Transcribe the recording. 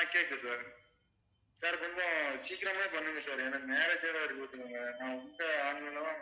கேக்குது sir sir கொஞ்சம் சீக்கிரமா பண்ணுங்க sir எனக்கு marriage